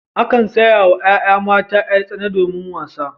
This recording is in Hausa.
Akan saya wa yaya mata yar-tsana domin wasa.